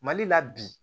Mali la bi